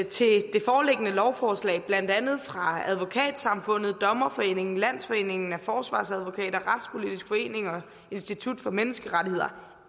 til det foreliggende lovforslag blandt andet fra advokatsamfundet dommerforening landsforeningen af forsvarsadvokater retspolitisk forening og institut for menneskerettigheder